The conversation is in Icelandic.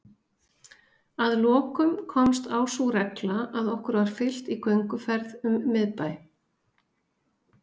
Að lokum komst á sú regla að okkur var fylgt í gönguferð um miðbæ